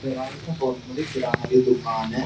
अरे यार ये तो बहुत बड़ी किराना दुकान है।